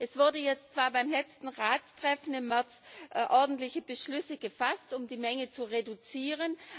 Es wurden jetzt zwar beim letzten Ratstreffen im März ordentliche Beschlüsse gefasst, um die Menge zu reduzieren.